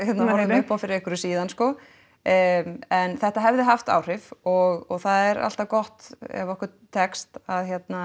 horfðum upp á fyrir einhverju síðan en þetta hefði haft áhrif og það er alltaf gott ef okkur tekst að